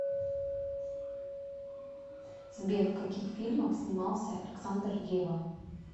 сбер в каких фильмах снимался александр ревва